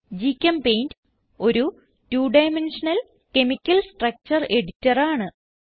ഗ്ചെമ്പെയിന്റ് ഒരു two dimensional chemical structure editor ആണ്